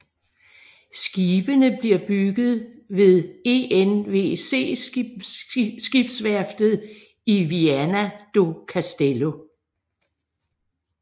Skibene bliver bygget ved ENVC skibsværftet i Viana do Castelo